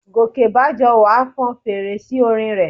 Gòkèbájọwà fọn fèrè sí orin rẹ̀